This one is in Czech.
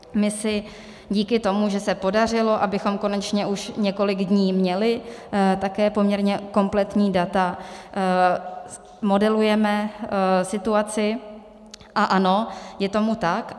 My si díky tomu, že se podařilo, abychom konečně už několik dní měli také poměrně kompletní data, modelujeme situaci, a ano, je tomu tak.